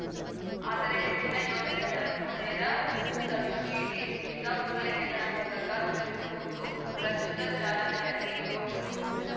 ಆದರೆ ಹೆಚ್ಚಿನ ಯೋಜನೆಗಳನ್ನು ನೇರ ಸಬ್ಸಿಡಿ ಉಚಿತ ಪೂರೈಕೆಗಳ ಮೂಲಕ ರೂಪಿಸುವುದು ಪ್ರಸ್ತುತ ಚಾಲನೆಯಲ್ಲಿ ಇರುವ ಕ್ರಮ